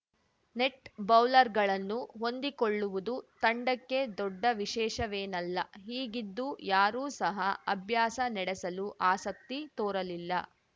net ಬೌಲರ್‌ಗಳನ್ನು ಹೊಂದಿಕೊಳ್ಳುವುದು ತಂಡಕ್ಕೆ ದೊಡ್ಡ ವಿಶೇಷವೇನಲ್ಲ ಹೀಗಿದ್ದೂ ಯಾರೂ ಸಹ ಅಭ್ಯಾಸ ನಡೆಸಲು ಆಸಕ್ತಿ ತೋರಲಿಲ್ಲ